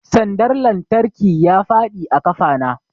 Sandar lantarki ya faɗi a ƙafa na